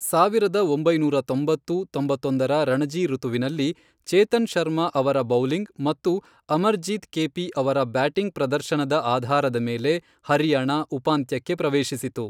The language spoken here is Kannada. ಸಾವಿರದ ಒಂಬೈನೂರ ತೊಂಬತ್ತು, ತೊಂಬತ್ತೊಂದರ ರಣಜಿ ಋತುವಿನಲ್ಲಿ, ಚೇತನ್ ಶರ್ಮಾ ಅವರ ಬೌಲಿಂಗ್ ಮತ್ತು ಅಮರ್ಜಿತ್ ಕೇಪಿ ಅವರ ಬ್ಯಾಟಿಂಗ್ ಪ್ರದರ್ಶನದ ಆಧಾರದ ಮೇಲೆ ಹರಿಯಾಣ ಉಪಾಂತ್ಯಕ್ಕೆ ಪ್ರವೇಶಿಸಿತು.